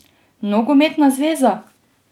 Nogometna zveza?